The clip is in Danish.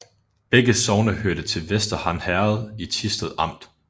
Begge sogne hørte til Vester Han Herred i Thisted Amt